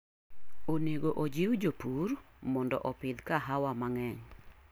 Onego ojiw jopur mondo opidh kahawa mang'eny